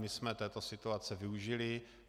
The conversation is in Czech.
My jsme této situace využili.